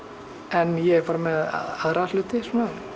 en ég er bara með aðra hluti